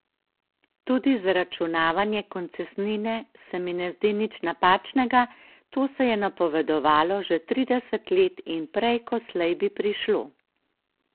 Tudi zaračunavanje koncesnine se mi ne zdi nič napačnega, to se je napovedovalo že trideset let in prej ko slej bi prišlo.